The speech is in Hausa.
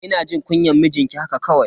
Ina jin kunyan mijinki haka kawai.